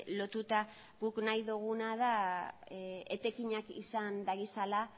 lotuta guk nahi duguna da etekinak izan ditzala